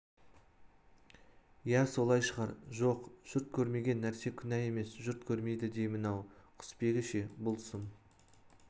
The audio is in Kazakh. иә солай шығар жоқ жұрт көрмеген нәрсе күнә емес жұрт көрмейді деймін-ау құсбегі ше бұл сұм